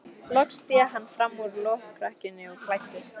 Loks sté hann fram úr lokrekkjunni og klæddist.